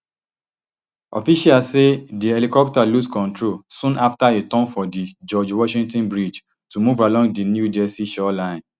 officials say di helicopter lose control soon afta e turn for di george washington bridge to move along di new jersey shoreline